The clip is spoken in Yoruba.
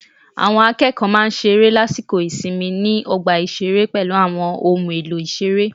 Àwọn akẹ́kọ̀ọ́ máa ń ṣeré lásìkò ìsinmi ni ọgbà ìṣeré pẹ̀lú àwọn ohun èlò ìṣeré